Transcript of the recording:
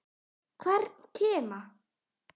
Hvern kima.